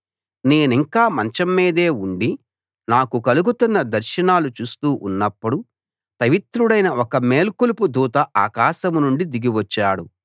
నేనింకా మంచం మీదే ఉండి నాకు కలుగుతున్న దర్శనాలు చూస్తూ ఉన్నప్పుడు పవిత్రుడైన ఒక మేల్కొలుపు దూత ఆకాశం నుండి దిగి వచ్చాడు